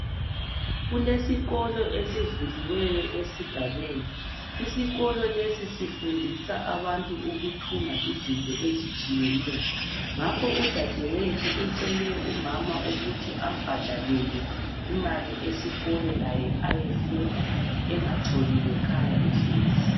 Kulesikolo esivuliweyo esigabeni. Isikolo lesi sifundisa abantu ukuthunga zinto ezitshiyeneyo. Ngakho udadewethu ucele umama ukuthi ambhadakele imali, esikolo, laye ayefunda. Angatshoni ngekhaya ehlezi.